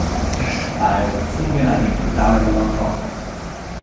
Ta je usposobljena in pripravljena na odhod.